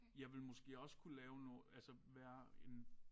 Jeg vil måske også kunne lave nogle altså være en